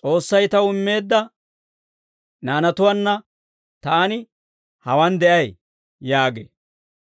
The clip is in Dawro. «S'oossay taw immeedda naanatuwaanna taani hawaan de'ay» yaagee.